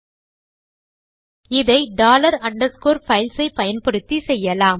இதை செய்வதெப்படி என்றால் டாலர் அண்டர்ஸ்கோர் பைல்ஸ் ஐ பயன்படுத்தி